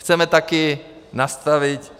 Chceme také nastavit